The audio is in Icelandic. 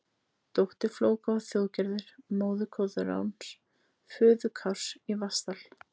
Dóttir Flóka var Þjóðgerður, móðir Koðráns, föður Kárs í Vatnsdal.